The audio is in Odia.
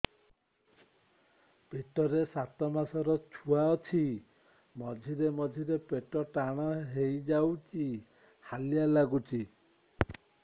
ପେଟ ରେ ସାତମାସର ଛୁଆ ଅଛି ମଝିରେ ମଝିରେ ପେଟ ଟାଣ ହେଇଯାଉଚି ହାଲିଆ ଲାଗୁଚି